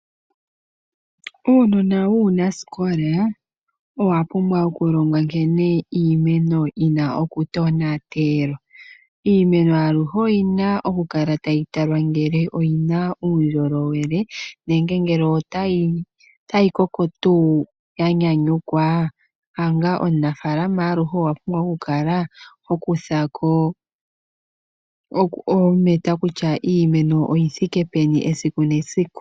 Uunona wuunasikola owa pumbwa okulongwa nkene iimeno yi na okutonatelwa. Iimeno aluhe oyi na okukala tayi talwa ngele oyi na uundjolowele nenge ngele otayi koko tuu ya nyanyukwa. Omunafaalama aluhe owu na okukala ho kutha ko oometa kutya iimeno oyi thike peni esiku nesiku.